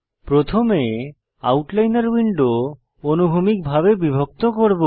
প্রথমে আমরা আউটলাইনর উইন্ডো অনুভূমিকভাবে বিভক্ত করব